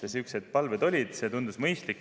Sihukesed palved olid ja see tundus mõistlik.